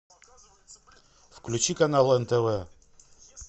включи канал нтв